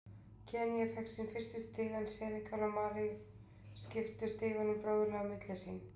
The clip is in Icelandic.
Kenýa fékk sín fyrstu stig en Senegal og Malí skiptu stigunum bróðurlega á milli sín.